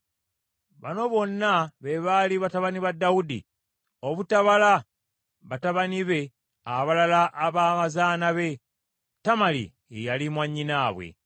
Bano bonna be baali batabani ba Dawudi, obutabala batabani be abalala aba bazaana be. Tamali ye yali mwannyinaabwe.